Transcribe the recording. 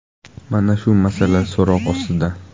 Mana shu masala so‘roq ostida.